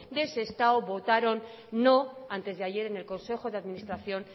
de sestao votaron no antes de ayer en el consejo de administración